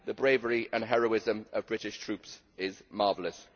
The bravery and heroism of British troops is marvellous.